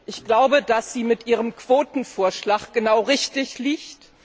Ich glaube, dass sie mit ihrem Quotenvorschlag genau richtig liegt.